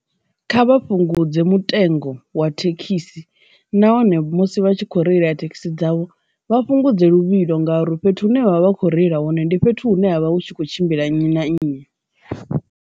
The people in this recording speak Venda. Kha vha fhungudze mutengo wa thekhisi nahone musi vha tshi kho reila thekhisi dzavho vha fhungudze luvhilo ngauri fhethu hune vha vha vha kho reila hone ndi fhethu hune havha hu tshi kho tshimbila nnyi na nnyi.